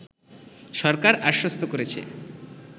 সরকার আশ্বস্ত করেছে